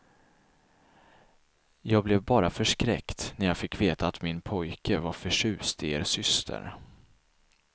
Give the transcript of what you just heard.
Jag blev bara förskräckt när jag fick veta att min pojke var förtjust i er syster.